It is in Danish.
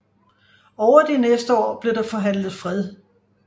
Over de næste år blev der forhandlet fred